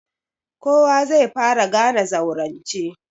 Kowa zai fara gane zaurance.